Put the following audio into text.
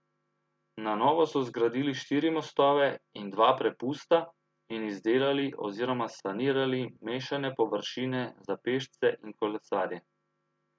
Na novo so zgradili štiri mostove in dva prepusta in izdelali oziroma sanirali mešane površine za pešce in kolesarje.